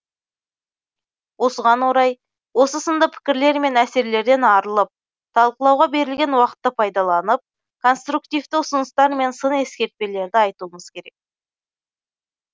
осыған орай осы сынды пікірлер мен әсерлерден арылып талқылауға берілген уақытты пайдаланып конструктивті ұсыныстар мен сын ескертпелерді айтуымыз керек